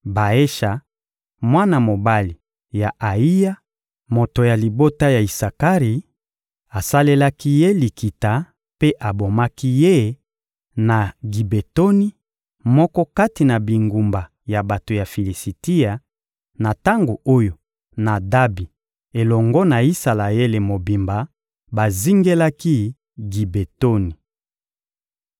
Baesha, mwana mobali ya Ayiya, moto ya libota ya Isakari, asalelaki ye likita mpe abomaki ye na Gibetoni, moko kati na bingumba ya bato ya Filisitia, na tango oyo Nadabi elongo na Isalaele mobimba bazingelaki Gibetoni.